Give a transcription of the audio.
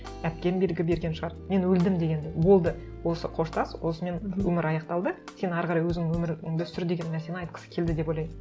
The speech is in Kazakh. әпкем белгі берген шығар мен өлдім деген болды осы қоштас осымен өмір аяқталды сен әрі қарай өзің өміріңді сүр деген нәрсені айтқысы келді деп ойлаймын